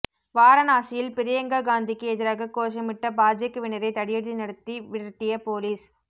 வாரணாசியில் பிரியங்கா காந்திக்கு எதிராக கோஷமிட்ட பாஜகவினரை தடியடி நடத்தி விட்டிய போலீஸ்